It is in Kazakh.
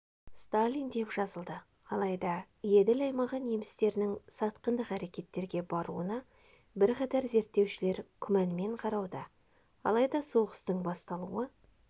сталин деп жазылды алайда еділ аймағы немістерінің сатқындық әрекеттерге баруына бірқатар зерттеушілер күмәнмен қарауда алайда соғыстың басталуы